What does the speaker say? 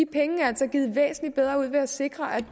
penge er altså givet væsentlig bedre ud ved at sikre at